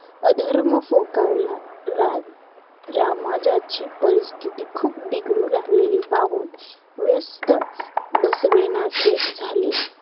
अधर्म फोकावला राम रामाज्याची परिस्तिथी खूप बिघडू लागलेली पाहून व्यस्त बसवेनासे झाले